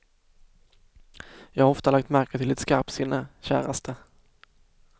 Jag har ofta lagt märke till ditt skarpsinne, käraste.